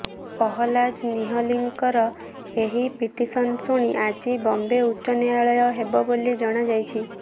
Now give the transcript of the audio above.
ପହଲାଜ ନିହଲନୀଙ୍କର ଏହି ପିଟିସନ୍ ଶୁଣି ଆଜି ବମ୍ବେ ଉଚ୍ଚ ନ୍ୟାୟାଳୟ ହେବ ବୋଲି ଜଣାଯାଇଛି